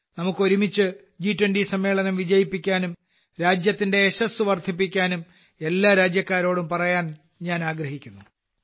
നമുക്ക് ഒരുമിച്ച് ജി20 സമ്മേളനം വിജയിപ്പിക്കാമെന്നും രാജ്യത്തിന്റെ യശസ്സ് വർദ്ധിപ്പിക്കാമെന്നും എല്ലാ രാജ്യക്കാരോടും പറയാൻ ഞാൻ ആഗ്രഹിക്കുന്നു